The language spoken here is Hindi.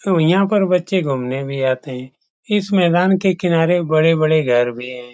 तो यहाँ पर बच्चे घूमने भी आते हैं इस मैदान के किनारे बड़े-बड़े घर भी हैं ।